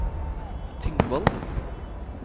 Tingvoll